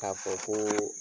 K'a fɔ koo